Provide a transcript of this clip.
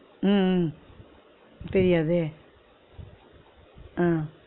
உம் உம் தெரியாதே ஆஹ்